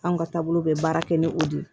Anw ka taabolo bɛ baara kɛ ni o de ye